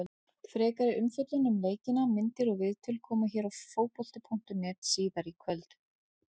Frekari umfjöllun um leikina, myndir og viðtöl, koma hér á Fótbolta.net síðar í kvöld.